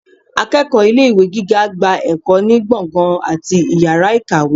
akeéko ilé ìwé gígá gbá ekò ni gbọngan atí ìyára ikáwe.